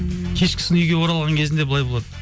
кешкісін үйге оралған кезінде былай болады